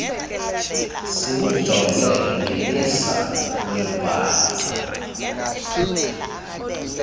siwujonge ngelisa lombhali